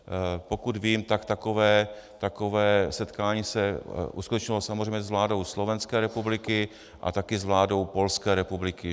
Pokud vím, tak takové setkání se uskutečnilo samozřejmě s vládou Slovenské republiky a taky s vládou Polské republiky.